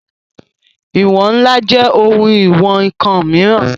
Ìwọ̀n ńlá jẹ́ ohun ìwọn ǹkan mìíràn